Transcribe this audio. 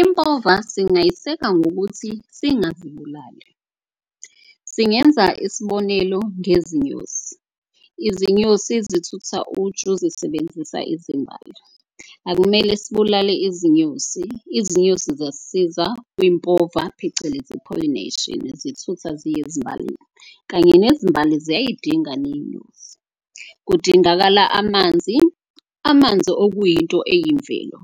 Impova singayiseka ngokuthi singazibulali singenza isibonelo ngezinyosi. Izinyosi zithutha uju zisebenzisa izimbali akumele sibulale izinyosi. Izinyosi ziyasisiza kwimpova phecelezi i-pollination zithutha ziye ezimbalini kanye nezimbali ziyidinga neyinyosi. Kudingakala amanzi, amanzi okuyinto eyimvelo